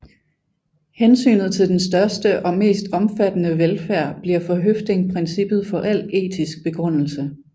Hensynet til den største og mest omfattende velfærd bliver for Høffding princippet for al etisk begrundelse